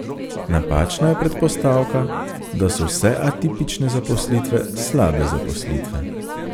Napačna je predpostavka, da so vse atipične zaposlitve slabe zaposlitve.